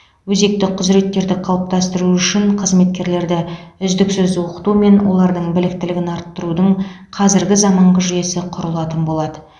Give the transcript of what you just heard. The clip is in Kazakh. өзекті құзыреттерді қалыптастыру үшін қызметкерлерді үздіксіз оқыту мен олардың біліктілігін арттырудың қазіргі заманғы жүйесі құрылатын болады